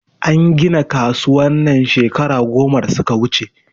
An gina kasuwan nan shekara goma da suka wuche